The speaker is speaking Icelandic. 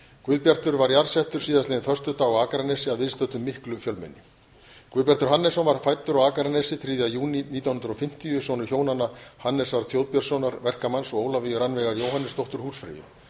guðbjartur var jarðsettur síðastliðinn föstudag á akranesi að viðstöddu miklu fjölmenni guðbjartur hannesson var fæddur á akranesi þriðja júní nítján hundruð og fimmtíu sonur hjónanna hannesar þjóðbjörnssonar verkamanns og ólafíu rannveigar jóhannesdóttur húsfreyju